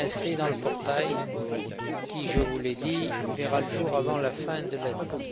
Il sera inscrit dans le portail qui, je vous l'ai dit, verra le jour avant la fin de l'année.